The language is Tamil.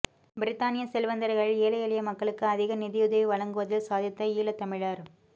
பிரித்தானிய செல்வந்தர்களில் ஏழை எளிய மக்களுக்கு அதிக நிதியுதவி வழங்குவதில் சாதித்த ஈழத் தமிழர்